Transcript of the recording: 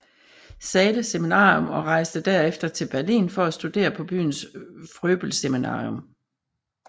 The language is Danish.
Zahles Seminarium og rejste derefter til Berlin for at studere på byens Fröbelseminarium